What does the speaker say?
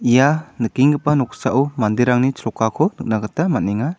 ia nikenggipa noksao manderangni chrokako nikna gita man·enga.